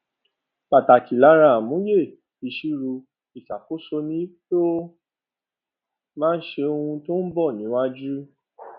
pàtàkì lára àmúyẹ iṣirò ìṣakóso ni pé ó má ń sọ ohun tó ń bò níwájú